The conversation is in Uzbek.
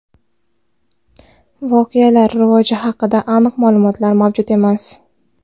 Voqealar rivoji haqida aniq ma’lumotlar mavjud emas.